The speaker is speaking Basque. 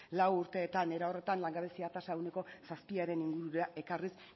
lau urteetan era horretan langabezia tasa ehuneko zazpiaren ingurura ekarriz